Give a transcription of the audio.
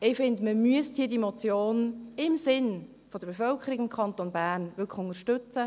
Ich finde, man müsste diese Motion im Sinn der Bevölkerung des Kantons Bern wirklich unterstützen.